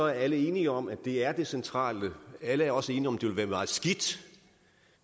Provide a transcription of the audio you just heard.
jeg alle er enige om at det er det centrale alle er også enige om at det vil være meget skidt